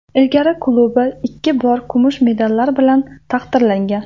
Ilgari klubi ikki bor kumush medallar bilan taqdirlangan.